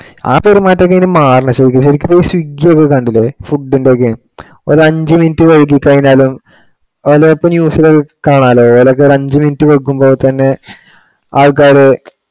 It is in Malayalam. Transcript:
ആ പെരുമാറ്റം ഒക്കെ ഇനി മാറണം ശരിക്ക്~ ശരിക്ക് swiggy ഒക്കെ കണ്ടില്ലേ food ഇന്റെ ഒക്കെ. ഒരഞ്ചു minute വൈകി കഴിഞ്ഞാലോ അതില് അപ്പൊ news ഇല് കാണാല്ലോ. ഒരൊക്കെ ഒരു അഞ്ചു minute വൈകുമ്പോ തന്നെ ആള്ക്കാര്